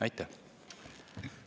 Aitäh!